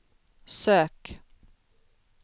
sök